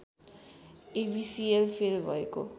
एबिसिएल fail भएको